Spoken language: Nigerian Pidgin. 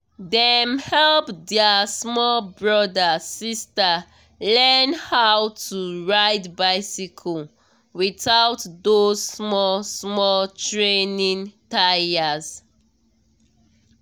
dem help their small brother/sister learn how to ride bicycle without those small-small training tyres.